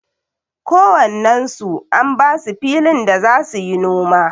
Ko wannen su an basu filin da za suyi noma.